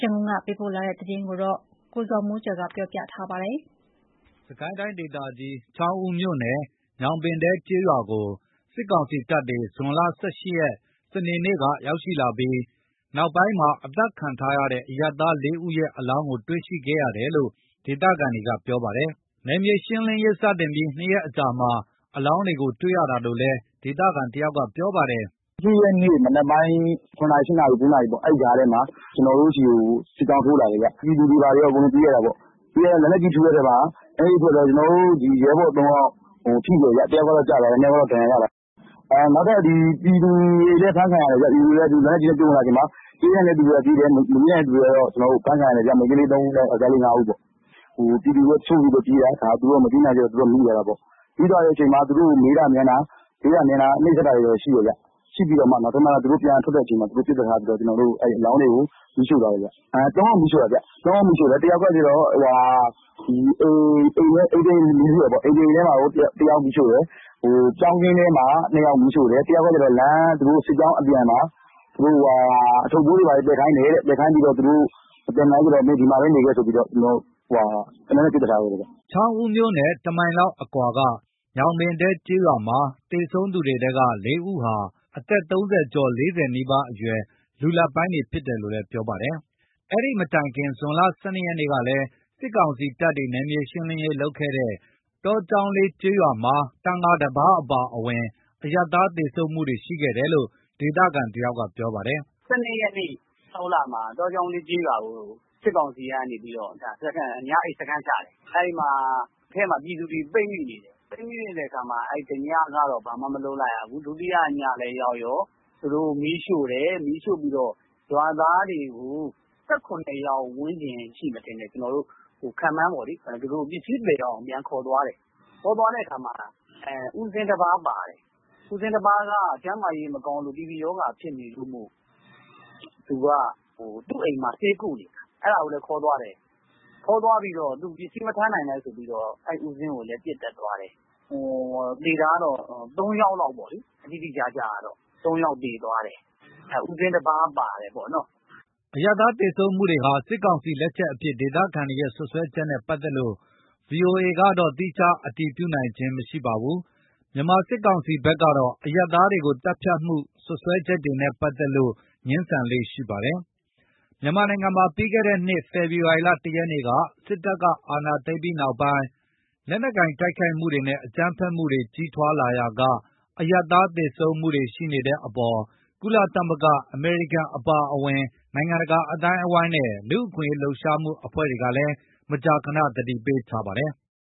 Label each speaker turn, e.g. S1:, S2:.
S1: ရန်ကုန်က ပေးပို့တဲ့ သတင်းကို ကိုဇော်မိုးကျော်က ကပြောပြပါမယ်
S2: ။ စစ်ကိုင်းတိုင်းဒေသကြီး ချောင်းဦးမြို့နယ် ညောင်ပင်တဲကျေးရွာကို စစ်ကောင်စီတပ်တွေ ဇွန်လ ၁၈ ရက်၊ စနေနေ့က ရောက်ရှိလာခဲ့ပြီး နောက်ပိုင်းမှာ အသတ်ခံထားရတဲ့ အရပ်သား ၄ ဦး ရဲ့ အလောင်းတွေကို တွေ့ခဲ့ရတယ်လို့ ဒေသခံတွေက ပြောပါတယ်။ နယ်မြေရှင်းလင်းရေး စတင်ပြီး ၂ ရက်အကြာမှာ အလောင်းတွေကို တွေ့ရတာလို့လည်း ဒေသခံတယောက်က ပြောပါတယ်။
S3: “၁၈ ရက်နေ့ မနက်ပိုင်း ၇နာရီ ၈ နာရီ ၉ နာရီပေါ့။ အဲ့ကြားထဲမှာ ကျွန်တော်တို့ဆီကို စစ်ကြောင်းထိုးလာတယ်ခင်ဗျ။ ပြည်သူတွေဘာတွေကော ပြေးရတယ်ပေါ့။ လက်နက်ကြီးထုတဲ့အချိန်မှာ ကျွန်တော်တို့ ရဲဘော် ၃ ယောက်ထိတယ်ဗျ။ တယောက်ကတော့ ကျသွားတယ်။ ၂ ယောက်ကတော့ ဒဏ်ရာ ရသွားတယ်။ နောက်ထပ် ပြည်သူတွေလည်း အဖမ်းခံရတယ်။ ပြည်သူတွေက လက်နက်ကြီးနဲ့ ပစ်ဝင်လာချိန်မှာ ပြေးနိုင်တဲ့သူကပြေးတယ်။ မပြေးနိုင်တဲ့သူတွေက ဖမ်းခံရတယ်ဗျ။ မိန်းကလေး ၃ ဦးနဲ့ ယောက်ကျားလေး ၅ ဦးပေါ့။ ပြည်သူတွေက တချို့တွေလည်း ပြေးတယ်။သူတို့က မပြေးနိုင်လို့ မိသွားတာပေါ့။ မိသွားတဲ့အချိန်မှာ သူတို့ကို မေးတာမြန်းတာ နှိပ်စက်တာတွေရှိတယ်ခင်ဗျ။ ရှိပြီး နောက်ဆုံး သူတို့ ပြန်ထွက်တဲ့အချိန်မှာ ပစ်သတ်ထားပြီးတော့ အလောင်းတွေကို မီးရှို့သွားတယ်ဗျ။ ၃ ယောက်မီးရှို့တယ်။ ၁ ယောက်ကကျတော့ အိမ်တအိမ်ထဲမှာ တယောက်မီးရှို့တယ်။ ပြောင်းခင်းထဲမှာ ၂ ယောက်မီးရှို့တယ်။ တယောက်က လမ်း စစ်ကြောင်းအပြန်မှာ အထုပ်အပိုးတွေဘာတွေ သယ်ခိုင်းတယ်တဲ့ သယ်ခိုင်းပြီးတော့မှ မသယ်နိုင်ဘူးဆိုတော့ မင်းဒီမှာပဲနေခဲ့ဆိုပြီး သေနတ်နဲ့ ပစ်သတ်ထားခဲ့တယ်ဗျ။
S2: ” ချောင်းဦးမြို့နဲ့ ၁ မိုင်ခွဲလောက် အကွာက ညောင်ပင်တဲ ကျေးရွာမှာ သေဆုံးသူတွေထဲက ၄ ဦးဟာ အသက် ၃၀ ကျော် ၄၀ နီးပါးအရွယ် လူလတ်ပိုင်းတွေ ဖြစ်တယ်လို့လည်း ပြောပါတယ်။ ဒီမတိုင်ခင် ဇွန်လ ၁၂ ရက်ကလည်း စစ်ကောင်စီတပ်ဖွဲ့တွေ နယ်မြေရှင်းလင်းရေး လုပ်ခဲ့တဲ့ တောကျောင်းလေးကျေးရွာမှာ သံဃာတပါး အပါအဝင် အရပ်သား သေဆုံးမှုတွေ ရှိခဲ့တယ်လို့ ဒေသခံတယောက်က ပြောပါတယ်
S1: ။ “၁၂ ရက် ၆ လမှာ တောကျောင်းလေးကျေးရွာကို စစ်ကောင်စီကနေပြီးတော့ ညအိပ် စခန်းချတယ်။ အဲ့မှာ အထဲမှာ ပြည်သူတွေ ပိတ်မိနေတယ်။ ပိတ်မိနေတဲ့အခါမှာ တညကတော့ ဘာမှမလုပ်ဘူး။ ဒုတိယညလည်း ရောက်ရော သူတို့ မီးရှို့တယ်။ မီးရှို့ပြီးတော့ ရွာသားတွေကို ၁၇ ယောက် ဝန်းကျင်ရှိမယ်ထင်တယ်။ ခန့်မှန်းပေါ့လေ။ ပစ္စည်းသယ်ရအောင် ခေါ်သွားတယ်။ ခေါ်သွားတဲ့အခါမှာ ဦးဇင်းတပါးပါတယ်။ ဦးဇင်းတပါးက ကျန်းမာရေးမကောင်းလို့ TB ရောဂါ ဖြစ်နေလို့မို့လို့ သူ့အိမ်မှာ ဆေးကုနေတာ။ အဲ့ဒါကိုလည်း ခေါ်သွားတယ်။ ခေါ်သွားပြီးတော့ သူပစ္စည်းမထမ်းနိုင်လို့ဆိုပြီးတော့ အဲ့ဦးဇင်းကိုလည်း ပစ်သတ်သွားတယ်။ သေတာက ၃ ယောက်လောက်ပေါ့လေ။ တိတိကျကျကတော့ ၃ ယောက်သေသွားတယ်။ ဦးဇင်းတပါး ပါတယ်ပေါ့နော်
S2: ။” အရပ်သား သေဆုံးမှုတွေဟာ စစ်ကောင်စီလက်ချက်အဖြစ် ဒေသခံတွေရဲ့ စွပ်စွဲချက်နဲ့ ပတ်သက်လို့ ဗွီအိုအေကတော့ သီးခြား အတည်မပြုနိုင်ပါဘူး။ မြန်မာစစ်ကောင်စီ ဖက်ကတော့ အရပ်သားတွေကို သတ်ဖြတ်မှု စွပ်စွဲချက်တွေနဲ့ ပတ်သက်လို့ ငြင်းဆန်လေ့ ရှိပါတယ်။ မြန်မာနိုင်ငံမှာ ပြီးခဲ့တဲ့နှစ် ဖေဖော်ဝါရီလ ၁ ရက်နေ့ စစ်တပ်က အာဏာသိမ်းပြီးနောက်ပိုင်း လက်နက်ကိုင် တိုက်ခိုက်မှုတွေနဲ့ အကြမ်းဖက်မှုတွေ ကြီးထွားလာရာက အရပ်သား သေဆုံးမှုတွေ ရှိနေတဲ့အပေါ် ကုလသမဂ္ဂ၊ အမေရိကန် အပါအဝင် နိုင်ငံတကာ အသိုင်းအဝန်းနဲ့ လူ့အခွင့်အရေး လှုပ်ရှားမှုအဖွဲ့တွေကလည်း မကြာခဏ သတိပေးထားပါတယ်။